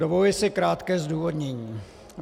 Dovoluji si krátké zdůvodnění.